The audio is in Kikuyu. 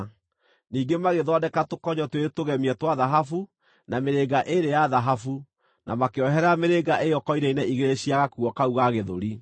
Ningĩ magĩthondeka tũkonyo twĩrĩ tũgemie twa thahabu, na mĩrĩnga ĩĩrĩ ya thahabu, na makĩoherera mĩrĩnga ĩyo koine-inĩ igĩrĩ cia gakuo kau ga gĩthũri.